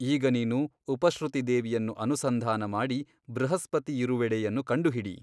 ಈಗ ನೀನು ಉಪಶ್ರುತಿ ದೇವಿಯನ್ನು ಅನುಸಂಧಾನಮಾಡಿ ಬೃಹಸ್ಪತಿಯಿರುವೆಡೆಯನ್ನು ಕಂಡುಹಿಡಿ.